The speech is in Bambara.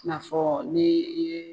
I na fɔ n'i ye.